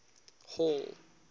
hall